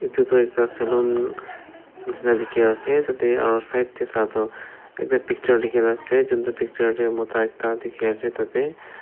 etu toh ekta saloon nishi na dikhi ase ete aru side te sa toh ekta picture dikhi ne ase kuntu picture te mota ekta dikhi ase tate.